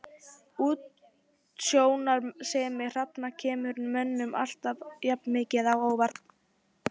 Útsjónarsemi hrafna kemur mönnum alltaf jafn mikið á óvart.